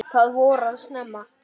Það voraði snemma.